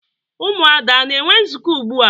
Ụmụada ana-enwe nzukọ ugbua?